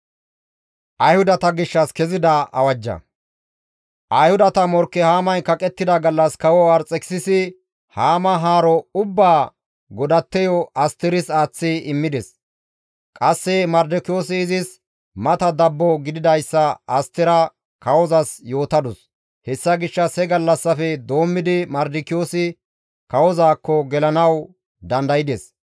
Ayhudata morkke Haamay kaqettida gallas kawo Arxekisisi Haama haaro ubbaa godatteyo Asteris aaththi immides. Qasse Mardikiyoosi izis mata dabbo gididayssa Astera kawozas yootadus. Hessa gishshas he gallassafe doommidi Mardikiyoosi kawozaakko gelanawu dandaydes.